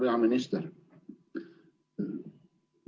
Hea peaminister!